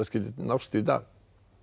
skyldi nást í dag